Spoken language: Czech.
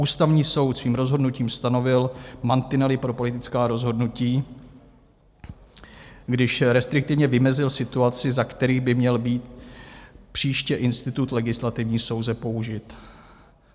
Ústavní soud svým rozhodnutím stanovil mantinely pro politická rozhodnutí, když restriktivně vymezil situaci, za které by měl být příště institut legislativní nouze použit.